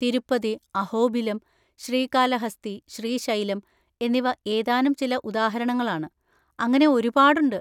തിരുപ്പതി, അഹോബിലം, ശ്രീകാലഹസ്തി, ശ്രീശൈലം എന്നിവ ഏതാനും ചില ഉദാഹരണങ്ങളാണ്, അങ്ങനെ ഒരുപാടുണ്ട്.